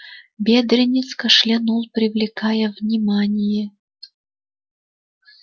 бедренец кашлянул привлекая внимание